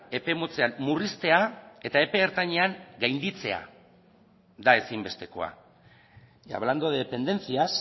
epe motzean murriztea eta epe ertainean gainditzea da ezinbestekoa y hablando de dependencias